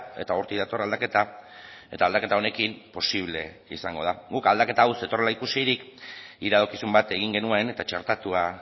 eta hortik dator aldaketa eta aldaketa honekin posible izango da guk aldaketa hau zetorrela ikusirik iradokizun bat egin genuen eta txertatua